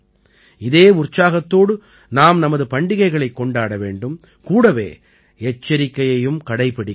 இதே உற்சாகத்தோடு நாம் நமது பண்டிகைகளைக் கொண்டாட வேண்டும் கூடவே எச்சரிக்கையையும் கடைப்பிடிக்க வேண்டும்